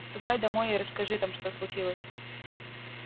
ступай домой и расскажи там что случилось